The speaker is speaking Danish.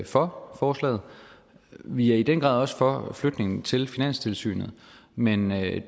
for forslaget vi er i den grad også for flytningen til finanstilsynet men med